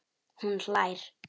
Hún hlær.